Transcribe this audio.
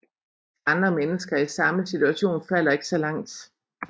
Andre mennesker i samme situation falder ikke så langt